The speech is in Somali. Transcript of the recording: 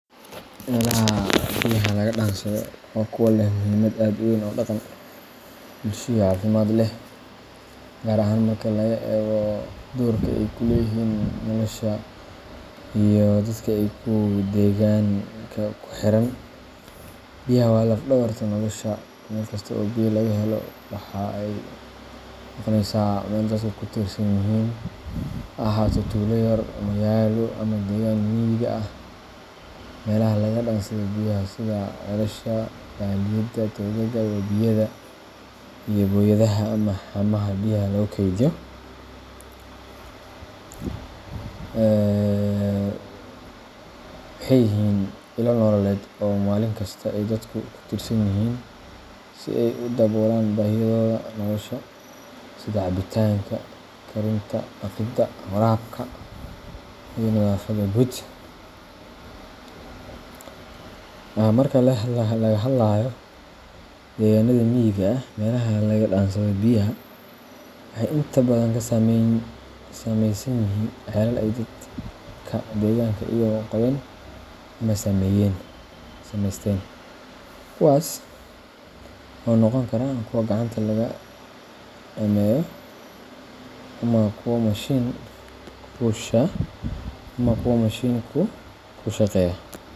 Meelaha biyaha laga dhansado waa kuwa leh muhiimmad weyn oo dhaqan, bulsho, iyo caafimaad leh — gaar ahaan marka laga hadlayo doorka ay ku leeyihiin nolosha iyo deegaanka ku xiran biyaha. Waa laf-dhabarka nolosha. Meel kasta oo biyo laga helo waxay noqonaysaa meel ay dadka ku tiirsan yihiin — ha ahaato tuulo, magaalo, ama deegaan miyi ah. Meelaha laga dhansado biyaha sida calaasha, toobka, iyo booyadaha hammayaasha biyaha lagu keydiy) waa ilo baahiyo ah oo dadka maalin walba ay ku tiirsan yihiin si ay u daboolaan baahidooda nolosha sida cabitaanka, karinta, dhaqida, iyo nadaafadda guud. Marka laga hadlayo deegaanada miyiga ah, meelaha biyaha laga dhansado waxay inta badan ka samaysan yihiin calaallo ay dadka deegaanka ay qodheen ama sameysteen — kuwaas oo noqon karo kuwo gacanta lagu dhameeyo ama kuwa machine ku shaqeeya.